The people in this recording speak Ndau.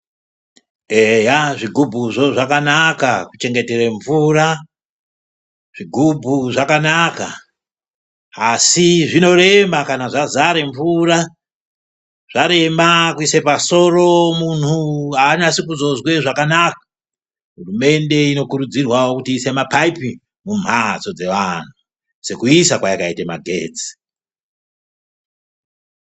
Eya zvigubhuzvo zvakanaka kuchengetere mvura zvigubhu zvakanaka asi zvinorema kana zvazare mvura zvarema kuise pasoro muntu anasi kuzozwa zvakanaka hurumende inokurudzirwawo kuti iise mapaipi mumphatso dzevantu sekuisa kwayakaita magetsi.